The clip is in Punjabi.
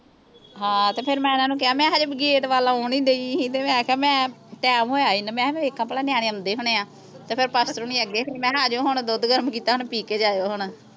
ਹਾਂ ਤੇ ਫਿਰ ਮੈਂ ਓਹਨਾਂ ਨੂੰ ਕਿਹਾ ਮੈਂ ਹਜੇ ਗੇਟ ਵੱਲ ਆਉਣ ਹੀ ਡਈ ਸੀ ਤੇ ਮੈਂ ਕਿਹਾ ਮੈਂ ਟਾਈਮ ਹੋਇਆ ਸੀ ਤੇ ਮੈਂ ਕਿਹ ਵੇਖਾਂ ਭਲਾ ਨਿਆਣੇ ਆਉਂਦੇ ਹੋਣੇ ਆ ਤੇ ਫੇਰ ਪਾਸਟਰ ਹੁਣੀ ਅੱਗੇ ਸੀ ਮੈਂ ਕਿਹਾ ਅਜੋ ਹੁਣ ਦੁੱਧ ਗਰਮ ਕੀਤਾ ਹੁਣ ਪੀ ਕੇ ਜਾਇਓ ਹੁਣ